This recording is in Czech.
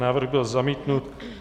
Návrh byl zamítnut.